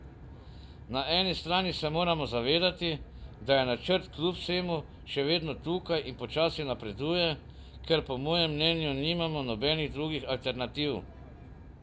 Na eni strani se moramo zavedati, da je načrt kljub vsemu še vedno tukaj in počasi napreduje, ker po mojem mnenju nimamo nobenih drugih alternativ.